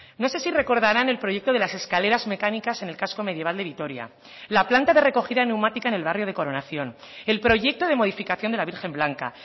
no sé si recordarán el proyecto de las escaleras mecánicas en el casco medieval de vitoria la planta de recogida neumática en el barrio de coronación el proyecto de modificación de la virgen blanca